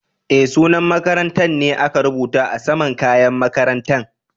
Eh, sunan makarantan ne aka rubuta a sama'n kayan makarantan.